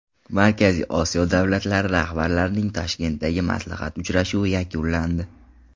Markaziy Osiyo davlatlari rahbarlarining Toshkentdagi maslahat uchrashuvi yakunlandi .